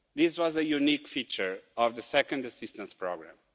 This was a unique feature of the second assistance programme.